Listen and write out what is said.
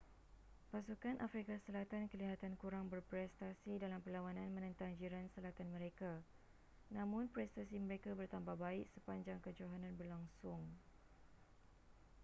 pasukan afrika selatan kelihatan kurang berprestasi dalam perlawanan menentang jiran selatan mereka namun prestasi mereka bertambah baik sepanjang kejohanan berlangsung